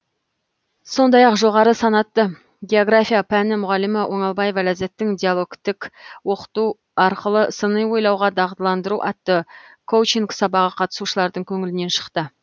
сондай ақ жоғары санатты география пәні мұғалімі оңалбаева ләззаттың диалогтік оқыту арқылы сыни ойлауға дағдыландыру атты коучинг сабағы қатысушылардың көңілінен шықты